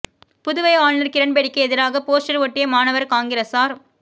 புதுவை ஆளுநா் கிரண் பேடிக்கு எதிராக போஸ்டா் ஒட்டிய மாணவா் காங்கிரஸாா்